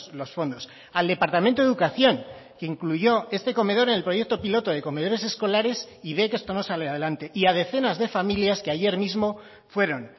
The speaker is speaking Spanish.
los fondos al departamento de educación que incluyó este comedor en el proyecto piloto de comedores escolares y ve que esto no sale adelante y a decenas de familias que ayer mismo fueron